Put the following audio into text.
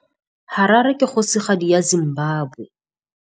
Harare ke kgosigadi ya Zimbabwe.